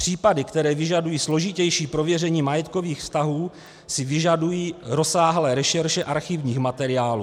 Případy, které vyžadují složitější prověření majetkových vztahů, si vyžadují rozsáhlé rešerše archivních materiálů."